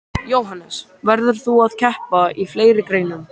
Jóhannes: Verður þú að keppa í fleiri greinum?